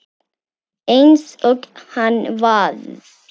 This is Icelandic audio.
Eins og hann var.